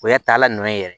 O y'a taalan na ye yɛrɛ